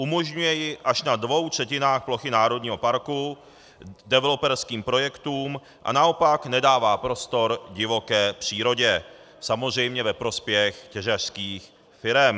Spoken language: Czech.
Umožňuje ji až na dvou třetinách plochy národního parku developerským projektům a naopak nedává prostor divoké přírodě, samozřejmě ve prospěch těžařských firem.